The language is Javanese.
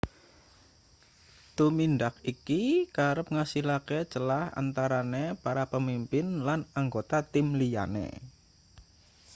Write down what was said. tumindak iki kerep ngasilake celah antarane para pemimpin lan anggota tim liyane